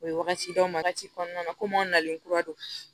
O ye wagati d'anw ma wagati kɔnɔna na komi an nalen kura don